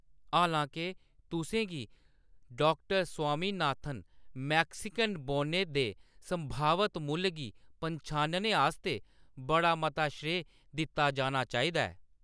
हालां-के, तुसें गी, डॉ स्वामीनाथन, मैक्सिकन बौनें दे संभावत मुल्ल गी पन्छानने आस्तै बड़ा मता श्रेय दित्ता जाना चाहिदा ऐ।